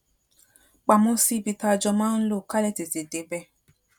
pamọ sí ibi tá a jọ máa ń lò ká lè tètè débè